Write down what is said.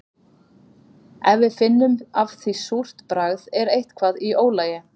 Ef við finnum af því súrt bragð er eitthvað í ólagi.